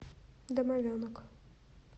домовенок